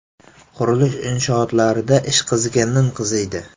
Qurilish inshootlarida ish qizigandan qiziydi.